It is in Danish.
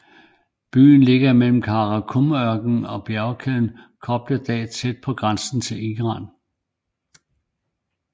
Byen ligger mellem Kara Kum ørkenen og bjergkæden Kopet Dag tæt på grænsen til Iran